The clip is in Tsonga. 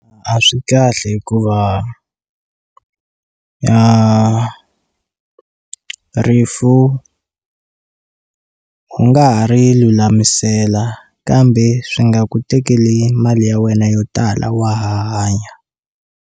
A swi kahle hikuva ya rifu u nga ha ri lulamisela kambe swi nga ku tekeli mali ya wena yo tala wa ha hanya.